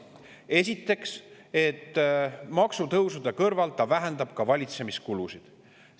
Esiteks, et maksutõusude kõrval vähendab ta valitsemiskulusid.